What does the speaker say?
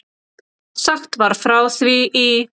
Sagt var frá því í